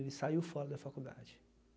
Ele saiu fora da faculdade.